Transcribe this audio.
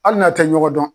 Hali n'a tɛ ɲɔgɔn dɔn